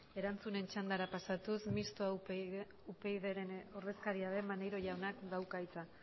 erantzunen txandara pasatuz mistoa upydren ordezkaria den maneiro jaunak dauka hitza